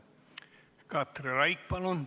Katri Raik, palun!